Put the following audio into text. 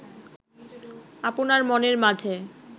আপনার মনের মাঝে